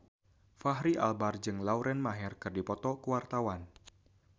Fachri Albar jeung Lauren Maher keur dipoto ku wartawan